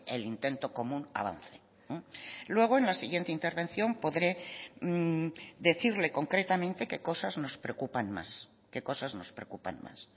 el intento común avance luego en la siguiente intervención podré decirle concretamente qué cosas nos preocupan más qué cosas nos preocupan más